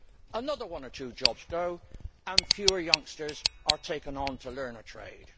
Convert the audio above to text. Another one or two jobs go, and fewer youngsters are taken on to learn a trade.